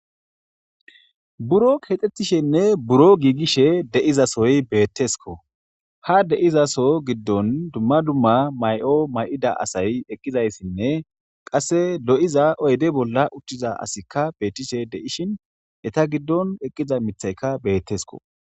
buro kexxettishenne buro giigishe deizasoy beettesko ha deizaso giddon dumma dumma may7o may7ida asay eqqizayssinne qasse lo7iza oyde bolla uchthiza asikka beettishe deishin eta giddon eqqiza mithaykka beettesko